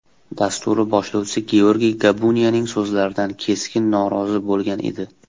dasturi boshlovchisi Georgiy Gabuniyaning so‘zlaridan keskin norozi bo‘lgan edi.